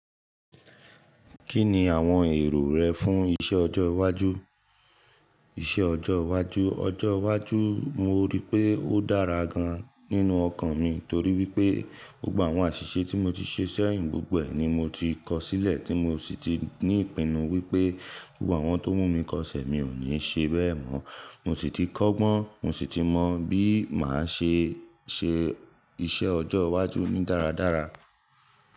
Kí ni àwọn èrò rẹ fún iṣẹ́ ọjọ́ iwájú? Iṣẹ́ ọjọ́ iwájú, ọjọ́ iwájú mo rí pé ó dára gan-an nínú ọkàn mi torí wípé gbogbo àwọn àṣìṣe tí mo ti ṣe sẹ́yìn gbogbo e ni mo ti kọ sílẹ̀ tí mo sì ti ní ìpinnu wípé gbogbo àwọn oun tó mú mi kọsẹ̀ mi ò ní ṣe bẹ́ẹ̀ mọ́. Mo sì ti kọ́gbọ́n, mo sì ti mọ bí màá ṣe ṣe iṣẹ́ ọjọ́ iwájú mi dáradára.